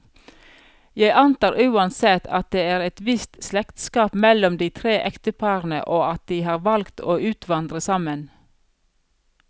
Jeg antar uansett, at det er et visst slektskap mellom de tre ekteparene, og at de har valgt å utvandre sammen.